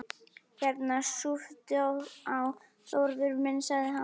Hérna, súptu á, Þórður minn sagði hann.